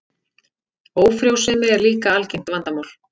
Ófrjósemi er líka algengt vandamál.